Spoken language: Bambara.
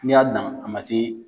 N'i y'a dan a ma se